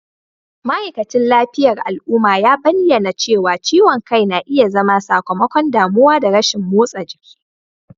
ma'aikacin lafiyar al'umma ya bayyana cewa ciwon kai na iya zama sakamakon damuwa da rashin motsa jiki